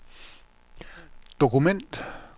dokument